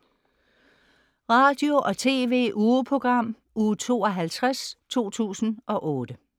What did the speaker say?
Radio- og TV-ugeprogram Uge 52, 2008